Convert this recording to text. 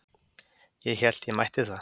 Ég hélt ég mætti það.